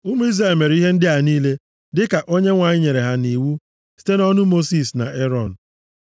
Ụmụ Izrel mere ihe ndị a niile, dịka Onyenwe anyị nyere ha nʼiwu site nʼọnụ Mosis na Erọn.